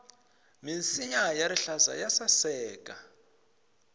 minsinya ya rihlaza ya saseka